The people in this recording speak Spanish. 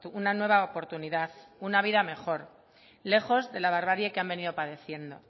una nueva oportunidad una vida mejor lejos de la barbarie que han venido padeciendo